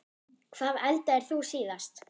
Hvað eldaðir þú síðast?